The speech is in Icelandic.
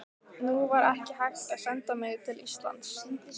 Nú var ekki hægt að senda mig til Íslands.